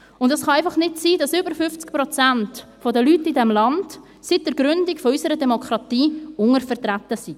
Es kann einfach nicht sein, dass über 50 Prozent der Leute in diesem Land seit der Gründung unserer Demokratie untervertreten sind.